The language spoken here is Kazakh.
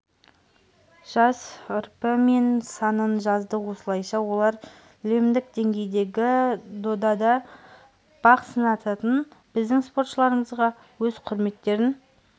жас рпі мен санын жазды осылайша олар лемдік деңгейдегі додада бақ сынасатын біздің спортшыларымызға өз құрметтерін